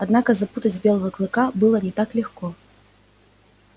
однако запугать белого клыка было не так легко